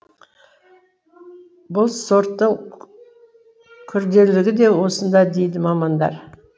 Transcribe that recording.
бұл сорттың күрделілігі де осында дейді мамандар